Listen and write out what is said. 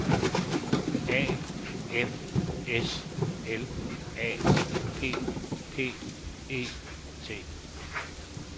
A F S L A P P E T